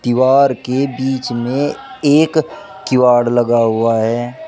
दीवार के बीच में एक किवाड़ लगा हुआ है।